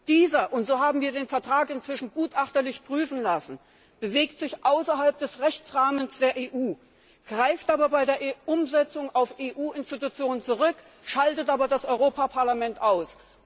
Dieser wir haben den Vertrag inzwischen gutachterlich prüfen lassen bewegt sich außerhalb des Rechtsrahmens der EU, greift aber bei der Umsetzung auf EU Institutionen zurück, schaltet aber das Europaparlament aus.